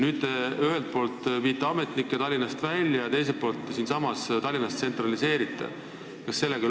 Nüüd, teie viite ühelt poolt ametnikke Tallinnast välja ja teiselt poolt tsentraliseerite siinsamas Tallinnas.